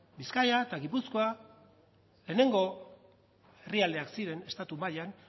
bizkaia eta gipuzkoa lehenengo herrialdeak ziren estatu mailan